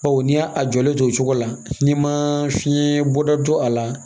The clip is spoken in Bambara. Bawo n'i y'a jɔlen to o cogo la n'i ma fiɲɛ bɔ da don a la